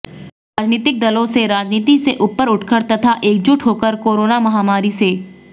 राजनीतिक दलों से राजनीति से उपर उठकर तथा एकजुट होकर कोरोना महामारी से